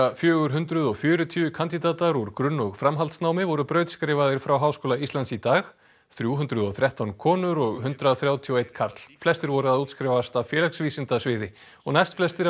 fjögur hundruð og fjörutíu kandídatar úr grunn og framhaldsnámi voru brautskráðir frá Háskóla Íslands í dag þrjú hundruð og þrettán konur og hundrað þrjátíu og einn karl flestir voru að útskrifast af félagsvísindasviði og næst flestir af